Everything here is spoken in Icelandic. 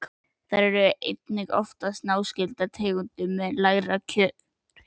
Þær eru einnig oftast náskyldar tegundum með lægri kjörhita.